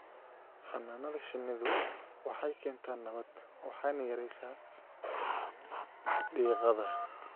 Xannaanada shinnidu waxay keentaa nabad waxayna yaraysaa diiqada.